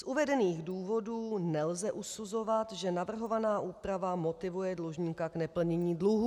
Z uvedených důvodů nelze usuzovat, že navrhovaná úprava motivuje dlužníka k neplnění dluhů.